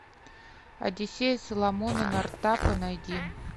одиссея соломона нортапа найди